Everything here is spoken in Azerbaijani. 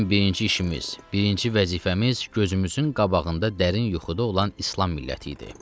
Bizim birinci işimiz, birinci vəzifəmiz gözümüzün qabağında dərin yuxuda olan İslam milləti idi.